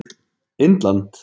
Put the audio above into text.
Indland